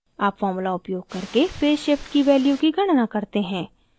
अब formula उपयोग करके फेज़ shift की value की गणना करते हैं